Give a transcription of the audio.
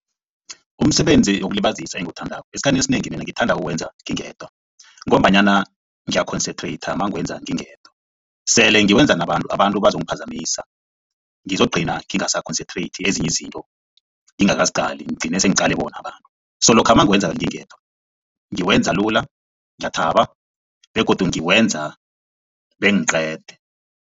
Umsebenzi wokulibazisa engiwuthandako esikhathini esinengi mina ngithanda ukuwenza ngingedwa ngombanyana ngiya-concentrate mangiwenza ngingedwa. Sele ngiwenza nabantu abantu bazongiphazamisa ngizogcina ngingasa-concentrate ezinye izinto ngingakaziqali ngigcine sengiqale bona abantu so lokha mangiwenza ngingedwa ngiwenza lula ngiyathaba begodu ngiwenza bengiqede.